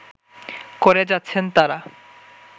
করে যাচ্ছেন তারা